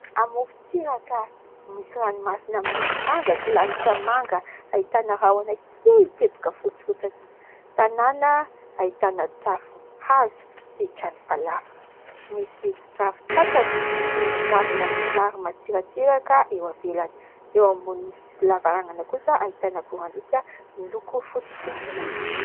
Amorontsiraka misy ranomasina miloko manga sy lanitra manga, ahitana rahona kely teboka fotsy fotsiny. Tanàna ahitana tafo hazo sy trano falafa, misy ravin-tsatrana sy ravina somary matsiratsiraka eo ivelany, eo ambonin'ny sisin'ny lavarangana kosa ahitana akorandriaka miloko fotsy sy mainty.